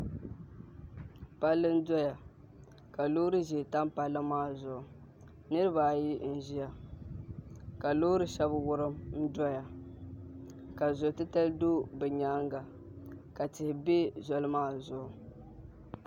Palli n doya ka loori ʒiɛ tam palli maa zuɣu niraba ayi n ʒiya ka loori shab wurim n doya ka zo titali do bi nyaanga ka tihi bɛ zoli maa zuɣu